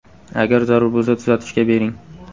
Agar zarur bo‘lsa tuzatishga bering.